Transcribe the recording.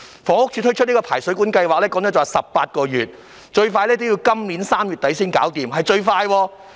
房屋署展開的排水管檢查計劃則需時18個月，最快要今年3月底才完成，這是最快的情況。